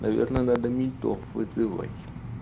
наверное надо ментов вызывать